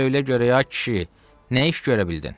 Söylə görək ay kişi, nə iş görə bildin?